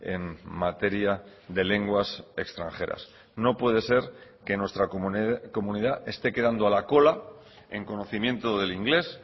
en materia de lenguas extranjeras no puede ser que nuestra comunidad esté quedando a la cola en conocimiento del inglés